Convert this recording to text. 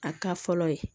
A ka fɔlɔ ye